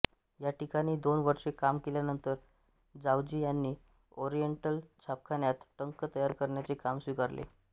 ह्या ठिकाणी दोन वर्षे काम केल्यानंतर जावजी ह्यांनी ओरिएंटल छापखान्यात टंक तयार करण्याचे काम स्वीकारले